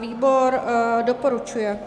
Výbor doporučuje.